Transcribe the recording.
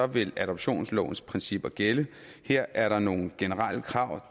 vil adoptionslovens principper gælde her er der nogle generelle krav